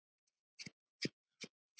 Þinn, Sveinn.